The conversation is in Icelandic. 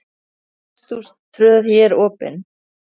Hesthús tröð hér opið er.